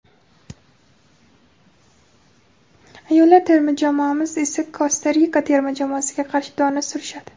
ayollar terma jamoamiz esa Kosta Rika terma jamoasiga qarshi dona surishadi.